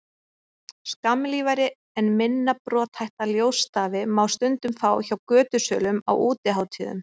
skammlífari en minna brothætta ljósstafi má stundum fá hjá götusölum á útihátíðum